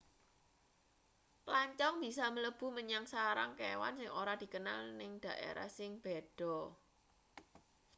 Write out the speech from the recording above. plancong bisa mlebu menyang sarang kewan sing ora dikenal ning daerah sing beda